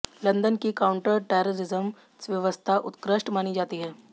London की counter terrorism व्यवस्था उत्कृष्ट मानी जाती है